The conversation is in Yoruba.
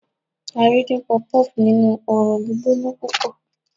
a rí din puff-puff ninu ọrọ gbígbóná púpò